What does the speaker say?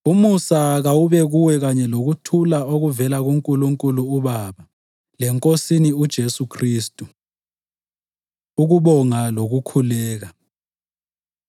Umusa kawube kuwe kanye lokuthula okuvela kuNkulunkulu uBaba leNkosini uJesu Khristu. Ukubonga Lokukhuleka